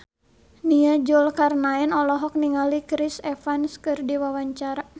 Nia Zulkarnaen olohok ningali Chris Evans keur diwawancara